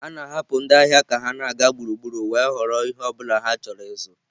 A na-ahapụ ndị ahịa ka ha na-aga gburugburu wee họrọ ihe ọ bụla ha chọrọ ịzụ.